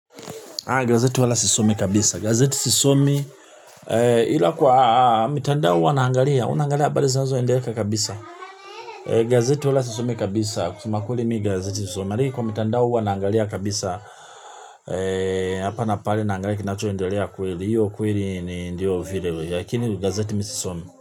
Gazeti wala sisomi kabisa. Gazeti sisomi ila kwa mitandao huwa naangalia. Unaangalia abari zinazo endeleka kabisa. Gazeti wala sisomi kabisa. Kusema kweli mi gazeti sisomi. Maliki kwa mitandao huwa naangalia kabisa. Hapa na pale naangalia kinacho ndelea kweli. Hiyo kweli ni ndio video. Yakini gazeti mi sisomi.